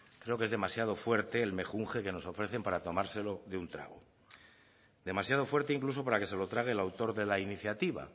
creo que es demasiado fuerte el mejunje que nos ofrecen para tomárselo de un trago demasiado fuerte incluso para que se lo trague el autor de la iniciativa